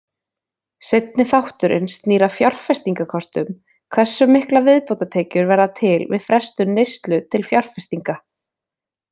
Seinni þátturinn snýr að fjárfestingakostum, hversu miklar viðbótartekjur verða til við frestun neyslu til fjárfestinga.